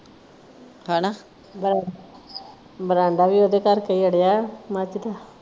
ਹੈਨਾ ਬਰੰਡਾ ਵੀ ਉਹਦੇ ਕਰਕੇ ਹੀ ਅੜਿਆ ।